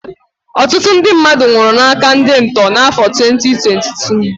Ọtụtụ ndị mmadụ nwụrụ n'áká ndị ntọ n'afọ 2022